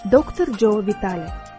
Doktor Co Vitale.